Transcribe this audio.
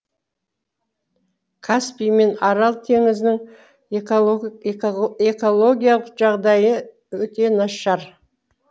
каспий мен арал теңізінің экологиялық жағдайы өте нашар